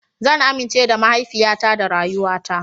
Zan amince da mahaifiyata da rayuwata.